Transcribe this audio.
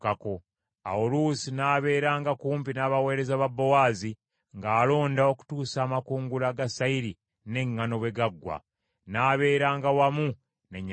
Awo Luusi n’abeeranga kumpi n’abaweereza ba Bowaazi ng’alonda okutuusa amakungula ga sayiri n’eŋŋaano bwe gaggwa, n’abeeranga wamu ne nnyazaala we.